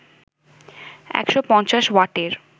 ১৫০ ওয়াটের